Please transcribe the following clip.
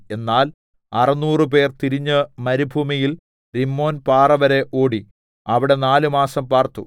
എന്നാൽ അറുനൂറ് പേർ തിരിഞ്ഞ് മരുഭൂമിയിൽ രിമ്മോൻ പാറ വരെ ഓടി അവിടെ നാല് മാസം പാർത്തു